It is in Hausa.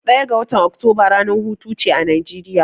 Ɗaya ga watan Oktoba ranar hutuce a Najeriya.